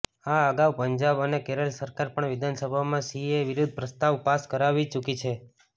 આ અગાઉ પંજાબ અને કેરલ સરકાર પણ વિધાનભામાં સીએએ વિરુદ્ધ પ્રસ્તાવ પાસ કરાવી ચૂકી છે